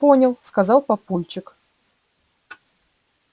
понял сказал папульчик